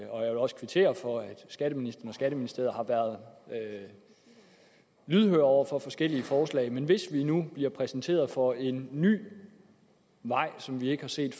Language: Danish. også kvittere for at skatteministeren og skatteministeriet har været lydhøre over for forskellige forslag men hvis vi nu bliver præsenteret for en ny vej som vi ikke har set